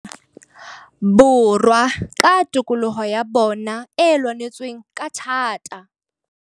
Borwa ka tokoloho ya bona e lwanetsweng ka thata.